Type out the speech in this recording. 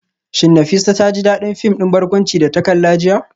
Shin Nafisa ta ji dadin fim din barkwanci da ta kalla jiya?